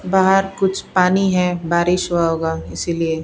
बाहर कुछ पानी है बारिश हुआ होगा इसीलिए --